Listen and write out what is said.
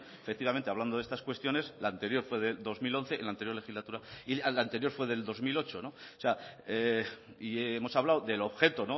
efectivamente hablando de estas cuestiones la anterior fue del dos mil once en la anterior legislatura y la anterior fue del dos mil ocho y hemos hablado del objeto